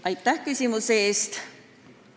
Aitäh küsimuse eest!